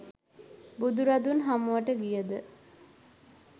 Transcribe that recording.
බුදුරදුන් හමුවට ගියද